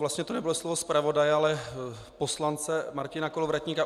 Vlastně to nebude slovo zpravodaje, ale poslance Martina Kolovratníka.